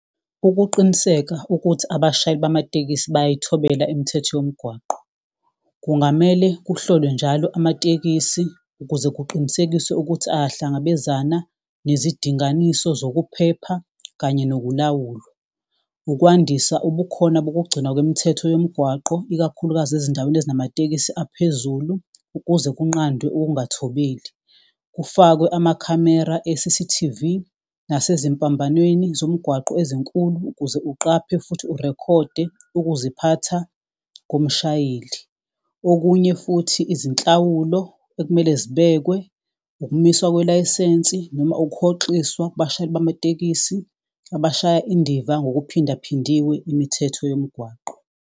Ukuqiniseka ukuthi abashayeli bamatekisi bayayithobela imithetho yomgwaqo. Kungamele kuhlolwe njalo amatekisi ukuze kuqinisekiswe ukuthi ayahlangabezana nezidinganiso zokuphepha kanye nokulawulwa. Ukwandisa ubukhona bokugcinwa kwemithetho yomgwaqo, ikakhulukazi ezindaweni ey'namatekisi aphezulu. Ukuze kunqandwe ukungathobeli, kufakwe amakhamera e-C_C_T_V. Nasezimpambanweni zomgwaqo ezinkulu ukuze uqaphe futhi urekhode ukuziphatha komshayeli. Okunye futhi izinhlawulo ekumele zibekwe, ukumiswa kwelayisensi noma ukuhoxiswa kubashayeli bamatekisi. Abashaya indiva ngokuphindaphindiwe imithetho yomgwaqo.